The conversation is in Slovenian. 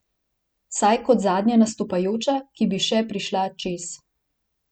Vsaj kot zadnja nastopajoča, ki bi še prišla čez.